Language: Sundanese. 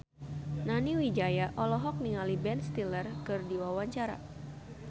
Nani Wijaya olohok ningali Ben Stiller keur diwawancara